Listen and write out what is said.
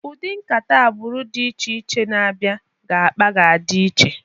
Ụdị nkata agbụrụ dị iche iche na abịa ga-akpa ga-adị iche.